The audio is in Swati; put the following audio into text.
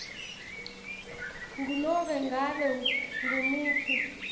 ngunobe ngabe ngumuphi